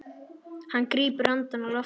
Hann grípur andann á lofti.